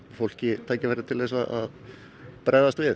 fólki tækifæri til að bregðast við